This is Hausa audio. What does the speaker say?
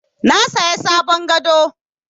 Na saya sabon gado.